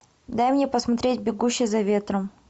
дай мне посмотреть бегущий за ветром